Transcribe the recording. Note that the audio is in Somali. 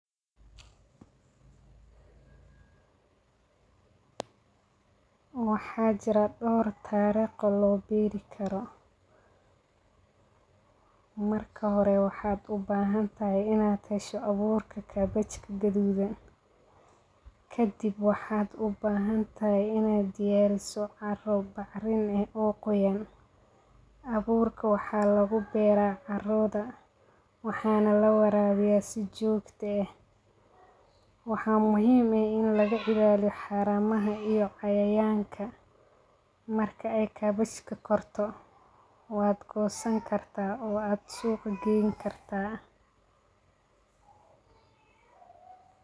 Waxaa jira dor tariq oo lo beri karo marka hore maxaa u bahan tahay in aa hesho aburka kabejka gadudan kadib wxaa u bahan tahay in aa diyariso bacrin eh oo qoyan aburka waxa lagu beera carodha waxana lawarawiya si jogto eh waxaa muhiim eh in laga ilaliyo cayayanka, marki ee korto waa gosan kartaa suqa aya gesab kartaa.